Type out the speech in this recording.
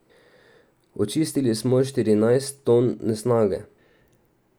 Očistili smo štirinajst ton nesnage.